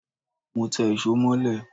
Mọ té ìsó molẹ́